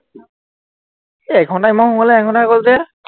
এৰ এঘন্টা, ইমান সোনকালে এঘন্টা হৈ গল যে?